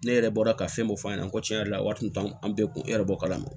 Ne yɛrɛ bɔra ka fɛn dɔ f'a ɲɛna ko tiɲɛ yɛrɛ la wari tun t'an bɛɛ kun yɛrɛ b'o kalama